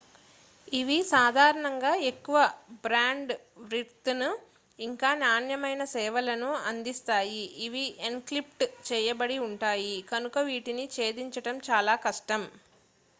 ఇవి సాధారణంగా ఎక్కువ బ్యాండ్ విడ్త్ను ఇంకా నాణ్యమైన సేవలను అందిస్తాయి ఇవి ఎన్క్రిప్ట్ చేయబడి ఉంటాయి కనుక వీటిని ఛేదించడం చాలా కష్టం